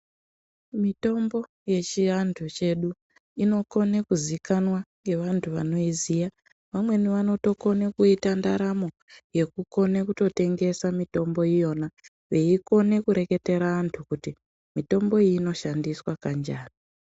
Mitombo yechiantu chedu inokone kuzikanwa ngevantu vanoiziya vamweni vanotokone kuita ndaramo yekukone kutotengesa mitombo iyona vaikone kureketera antu kuti mitombo iyi anoshandiswa kanjani.